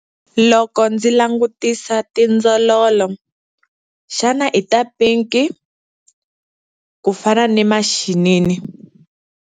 Loko ndzi langutisa tindzololo, xana i ta pinki, ku fana na maxinini?